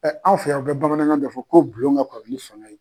anw fɛ yan u bɛ bamanankan bɛ fɔ ko bulon ka kɔrɔ ni fanga ye.